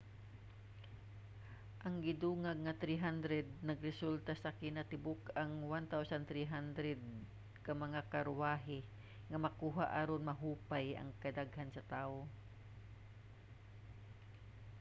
ang gidungag nga 300 nagresulta sa kinatibuk-ang 1,300 ka mga karwahe nga makuha aron mahupay ang kadaghan sa tawo